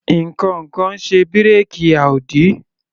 Ǹkankan ń ṣe bírèkì Audi.